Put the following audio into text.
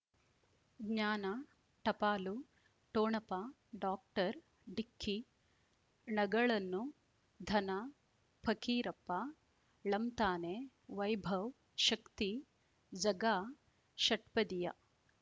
ಜ್ಞಾನ ಟಪಾಲು ಠೊಣಪ ಡಾಕ್ಟರ್ ಢಿಕ್ಕಿ ಣಗಳನು ಧನ ಫಕೀರಪ್ಪ ಳಂತಾನೆ ವೈಭವ್ ಶಕ್ತಿ ಝಗಾ ಷಟ್ಪದಿಯ